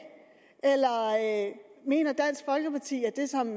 eller mener dansk folkeparti at det som